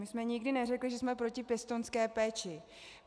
My jsme nikdy neřekly, že jsme proti pěstounské péči.